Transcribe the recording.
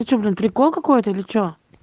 это что блин прикол какой-то или что